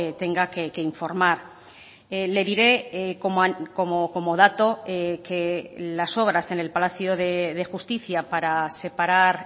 tenga que informar le diré como dato que las obras en el palacio de justicia para separar